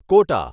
quota